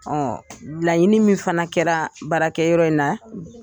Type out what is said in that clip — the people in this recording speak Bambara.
laɲini min fana kɛra baarakɛ yɔrɔ in na